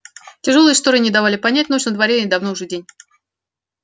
тяжёлые шторы не давали понять ночь на дворе или давно уже день